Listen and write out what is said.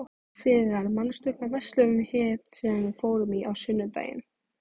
Sigarr, manstu hvað verslunin hét sem við fórum í á sunnudaginn?